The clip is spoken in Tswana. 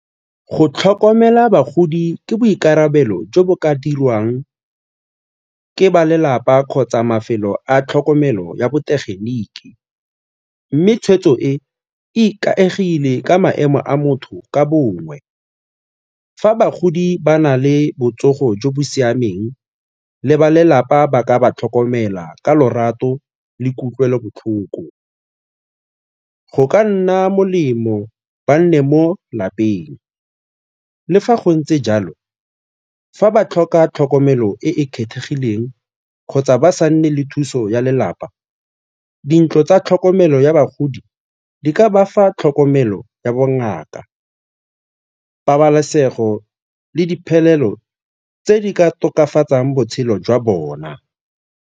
Go tlhokomela bagodi ke boikarabelo jo bo ka dirwang ke ba lelapa kgotsa mafelo a tlhokomelo ya botegeniki mme tshweetso e e ikaegile ka maemo a motho ka bongwe. Fa bagodi ba na le botsogo jo bo siameng le balelapa ba ka ba tlhokomela ka lorato le kutlwelobotlhoko, go ka nna molemo ba nne mo lapeng. Le fa go ntse jalo, fa ba tlhoka tlhokomelo e e kgethegileng kgotsa ba sa nne le thuso ya lelapa, dintlo tsa tlhokomelo ya bagodi ke ka bafa tlhokomelo ya bongaka, pabalesego le diphelelo tse di ka tokafatsang botshelo jwa bona.